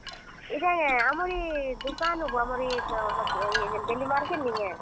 ଇଟା କେଁ ଆମର ଇ ଦୁକାନୁଁ ବୋ। ଆମର ଇ daily market ନି କେଁ।